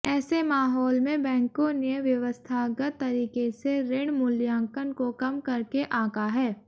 ऐसे माहौल में बैंकों ने व्यवस्थागत तरीके से ऋण मूल्यांकन को कम करके आंका है